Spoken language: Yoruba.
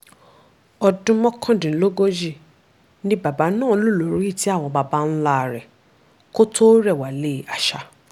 ọdún mọ́kàndínlógójì ni bàbá náà lò lórí ìtẹ́ àwọn baba ńlá rẹ̀ kó tóó rẹ̀wálé àṣà